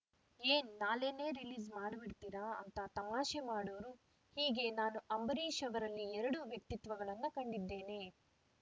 ಏನ್‌ ನಾಳೆನೇ ರೀಲೀಸ್‌ ಮಾಡಿಬಿಡ್ತಿರಾ ಅಂತ ತಮಾಷೆ ಮಾಡೋರು ಹೀಗೆ ನಾನು ಅಂಬರೀಷ್‌ ಅವರಲ್ಲಿ ಎರಡು ವ್ಯಕ್ತಿತ್ವಗಳನ್ನು ಕಂಡಿದ್ದೇನೆ